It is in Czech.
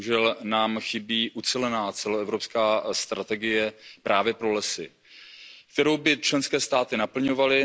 Bohužel nám chybí ucelená celoevropská strategie právě pro lesy, kterou by členské státy naplňovaly.